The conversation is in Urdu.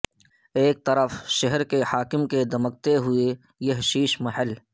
ایک طرف شہر کے حاکم کے دمکتے ھوئے یہ شیش محل